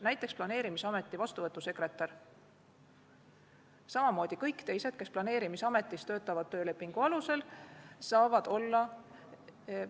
Näiteks, planeerimisameti vastuvõtusekretär, samamoodi kõik teised, kes planeerimisametis töölepingu alusel töötavad, saavad volikogus olla.